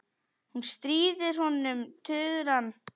Hún stríðir honum tuðran.